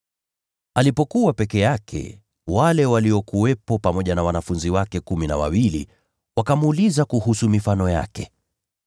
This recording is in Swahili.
Alipokuwa peke yake, watu waliokuwepo naye pamoja na wanafunzi wake kumi na wawili wakamuuliza kuhusu mifano yake.